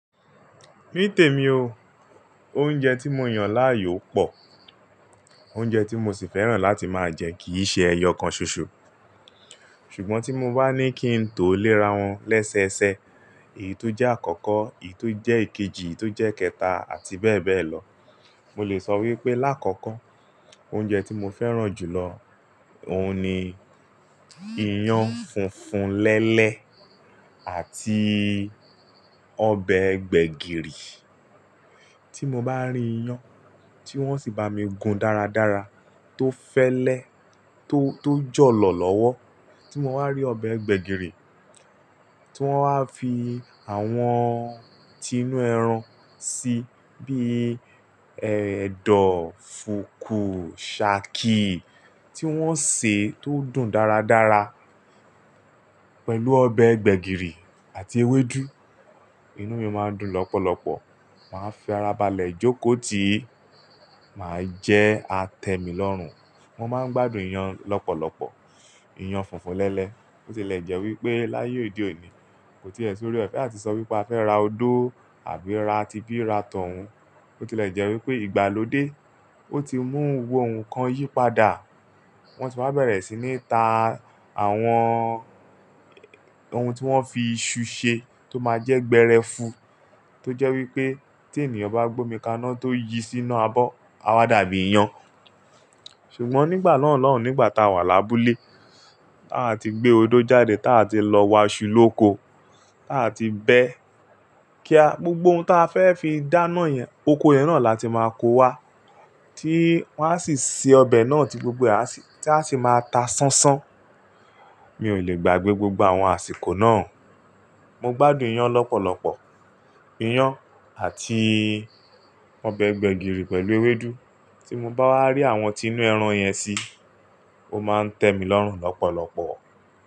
Ní tèmi o. Oúnjẹ tí mo yàn láàyò pọ̀. Oúnjẹ tí mo sì fẹ́ràn láti máa jẹ kì í ṣe ẹyọ kan ṣoṣo. Ṣùgbọ́n tí mo bá ní kí n tó léra wọn lẹ́sẹẹsẹ, èyí tó jẹ́ àkọ́kọ́, èyí tó jẹ́ ìkejì, èyí tó jẹ́ kẹta àti bẹ́ẹ̀ bẹ́ẹ̀ lọ. Mo lè sọ wípé láàkọ́kọ́ oúnjẹ tí mo fẹ́ràn jù lọ, òun ni iyán funfun lẹ́lẹ́ àti ọbẹ̀ gbẹ̀gìrì. Tí mo bá rí iyán tí wọ́n sì bá mi gun dáradára tó fẹ́lẹ́, tó, tó jọ̀lọ̀ lọ́wọ́. Tí mo bá rí ọbẹ̀ gbẹ̀gìrì tí wọ́n wá fi àwọn tinú ẹran sí, bíi ẹ̀dọ̀, fùkú, sàkì tí wọ́n sè tó dùn dáradára pẹ̀lú ọbẹ̀ gbẹ̀gìrì àti ewédú, inú mi máa ń dùn lọ́pọ̀lọpọ̀. Màá fi ara balẹ̀ jókòó tìí, màá jẹ, a tẹ̀ mí lọ́rùn. Mo máa ń gbádùn iyán lọ́pọ̀lọpọ̀, iyán funfun lẹ́lẹ́. Bo tilè jẹ́ wípé láyé òde òní, kò tíì ẹ̀ sóore ọ̀fẹ́ àti sọ wípé a fẹ́ ra odó àbí ra tibi ra t'ọ̀un. Bo tilè jẹ́ wípé ìgbàlódé o ti mú gbogbo nkan yí padà. Wọn ti wá bẹ̀rẹ̀ sí ní ta àwọn ohun tí wọ́n fi iṣu ṣe tó máa jẹ́ gbẹ́rẹ́fu tó jẹ́ wípé tí ènìyàn bá gbómi kaná tó yí sínú abọ́, a wá dàbí iyán. Ṣùgbọ́n nígbà náà lọ́hùn, nígbà tá a wà lábúlé, tá a ti gbé odó jáde, tá a ti lọ wá iṣu lóko, tá a ti bẹ́ kía, gbogbo ohun tá a fẹ́ fi dáná yẹn, oko yẹn náà láti máa kó wá tí wọ́n á sì se ọbẹ̀ náà tí gbogbo e a sì, tí a sì máa ta sánsán. Mi ò lè gbàgbé gbogbo àwọn àsìkò náà. Mo gbádùn iyán lọ́pọ̀lọpọ̀, iyán àti ọbẹ̀ gbẹ̀gìrì pẹ̀lú ewédú. Tí mo bá wá rí àwọn tinú ẹran yẹn sí, ó máa ń tẹ́ mí lọ́rùn lọ́pọ̀lọpọ̀